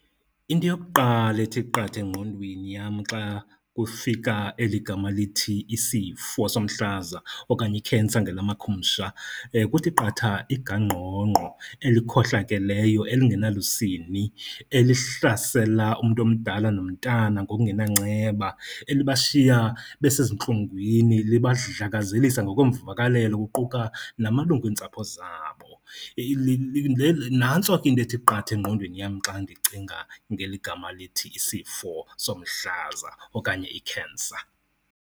Into yokuqala ethi qatha engqondweni yam xa kufika eligama lithi isifo somhlaza okanye i-cancer ngelama khumsha, kuthi qatha igangqongqo elikhohlakeleyo elingenalusini elihlasela umntu omdala nomntana ngokungenanceba. Elibashiya besezintlungwini libadlakazelisa ngokweemvakalelo kuquka namalungu entsapho zabo. Le, nantso ke into ethi qatha engqondweni yam xa ndicinga ngeli gama lithi isifo somhlaza okanye i-cancer.